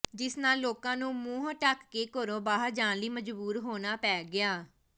ਜਿਸ ਨਾਲ ਲੋਕਾਂ ਨੂੰ ਮੂੰਹ ਢਕ ਕੇ ਘਰੋਂ ਬਾਹਰ ਜਾਣ ਲਈ ਮਜਬੂਰ ਹੋਣਾ ਪੈ ਗਿਆ